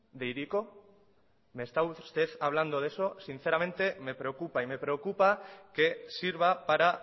de hiriko me está usted hablando de eso sinceramente me preocupa y me preocupa que sirva para